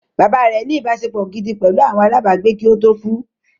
Bàbá rẹ̀ ní “ ìbáṣepọ̀ gidi pẹ̀lú àwọn alábàágbé kí ó tó kú